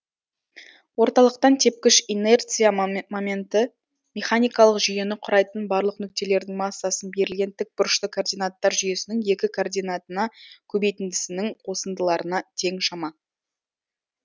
орталықтан тепкіш инерция моменті механикалық жүйені құрайтын барлық нүктелердің массасын берілген тік бұрышты координаттар жүйесінің екі координатына көбейтіндісінің қосындыларына тең шама